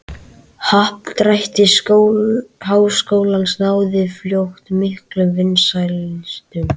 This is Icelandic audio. Happdrætti Háskólans náði fljótt miklum vinsældum.